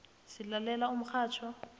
silalela umxhatjho